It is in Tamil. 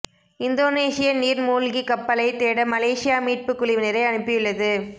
இந்தோனேசிய நீர் மூழ்கிக் கப்பலைத் தேட மலேசியா மீட்புக் குழுவினரை அனுப்பியுள்ளது